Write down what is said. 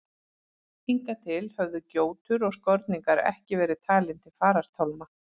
Hingað til höfðu gjótur og skorningar ekki verið talin til farartálma.